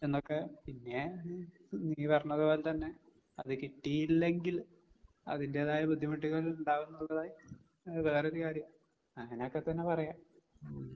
എന്നൊക്കെ. പിന്നേ ഉം നീ പറഞ്ഞത് പോലെ തന്നെ അത് കിട്ടിയില്ലെങ്കിൽ അതിന്റേതായ ബുദ്ധിമുട്ടുകൾ ഉണ്ടാകുന്നതായി എ വേറൊരു കാര്യം. അങ്ങനൊക്കെത്തന്നെ പറയാം. ഉം.